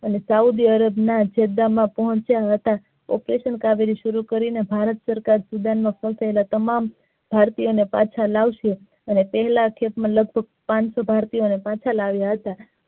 અનેસાઉદી અરબ માં પોંહચીયા હતા operation કાવેરી શરૂ કરી નેભારત સરકાર તમામ ભારતીયો ને પાછા લાવશું અને પેહલા step માં લગભગ પાનસો ભારતીયો ને પાછા લાવીયા હતા.